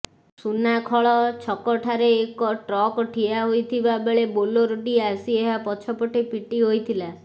ସୁନାଖଳ ଛକଠାରେ ଏକ ଟ୍ରକ୍ ଠିଆ ହୋଇଥିବା ବେଳେ ବୋଲେରୋଟି ଆସି ଏହା ପଛପଟେ ପିଟି ହୋଇଥିଲା